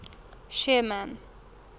sherman